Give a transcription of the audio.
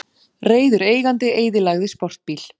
Reiður eigandi eyðilagði sportbíl